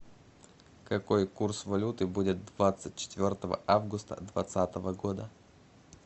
какой курс валюты будет двадцать четвертого августа двадцатого года